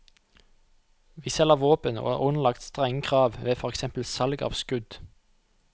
Vi selger våpen og er underlagt strenge krav ved for eksempel salg av skudd.